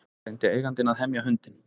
Reyndi eigandinn að hemja hundinn